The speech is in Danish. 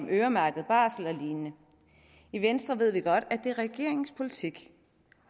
øremærket barsel og lignende i venstre ved vi godt at det er regeringens politik